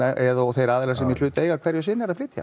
eða þeir aðilar sem í hlut eiga hverju sinni eru að flytja